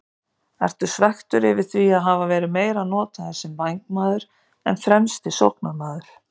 Ertu svekktur yfir því að hafa verið meira notaður sem vængmaður en fremsti sóknarmaður?